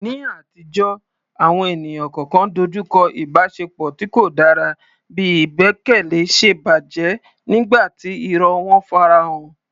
Ní àtijọ́, àwọn ènìyàn kọ̀ọ̀kan dojú kọ ìbáṣepọ̀ tí kò dára bí ìgbẹ́kẹ̀lé ṣe bàjẹ́ nígbà tí irọ́ wọn farahàn.